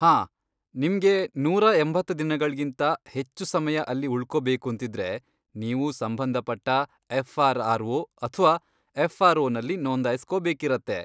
ಹಾಂ, ನಿಮ್ಗೆ ನೂರಾ ಎಂಬತ್ತ್ ದಿನಗಳ್ಗಿಂತ ಹೆಚ್ಚು ಸಮಯ ಅಲ್ಲಿ ಉಳ್ಕೊಬೇಕೂಂತಿದ್ರೆ, ನೀವು ಸಂಬಂಧಪಟ್ಟ ಎಫ್ಆರ್ಆರ್ಓ ಅಥ್ವಾ ಎಫ್ಆರ್ಓ ನಲ್ಲಿ ನೋಂದಾಯಿಸ್ಕೋಬೇಕಿರತ್ತೆ.